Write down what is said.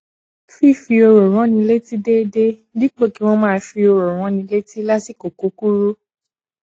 fífi òrò ránni létí déédéé dípò kí wọn máa fi òrò ránni létí lásìkò kúkúrú